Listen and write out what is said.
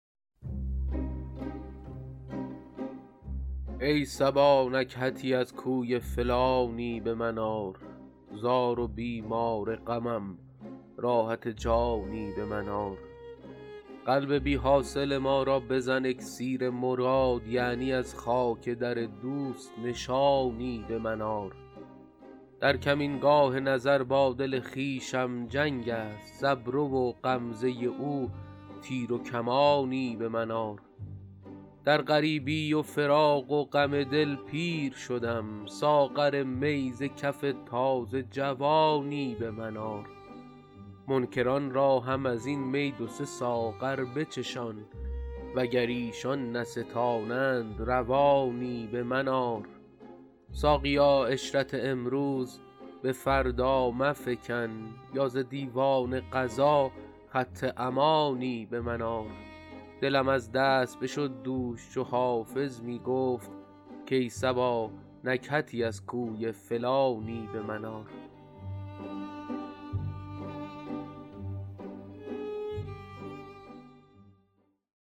ای صبا نکهتی از کوی فلانی به من آر زار و بیمار غمم راحت جانی به من آر قلب بی حاصل ما را بزن اکسیر مراد یعنی از خاک در دوست نشانی به من آر در کمینگاه نظر با دل خویشم جنگ است ز ابرو و غمزه او تیر و کمانی به من آر در غریبی و فراق و غم دل پیر شدم ساغر می ز کف تازه جوانی به من آر منکران را هم از این می دو سه ساغر بچشان وگر ایشان نستانند روانی به من آر ساقیا عشرت امروز به فردا مفکن یا ز دیوان قضا خط امانی به من آر دلم از دست بشد دوش چو حافظ می گفت کای صبا نکهتی از کوی فلانی به من آر